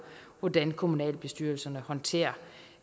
hvordan kommunalbestyrelserne håndterer